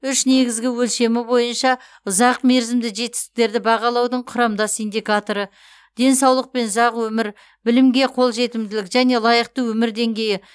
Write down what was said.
үш негізгі өлшемі бойынша ұзақ мерзімді жетістіктерді бағалаудың құрамдас индикаторы денсаулық пен ұзақ өмір білімге қол жетімділік және лайықты өмір деңгейі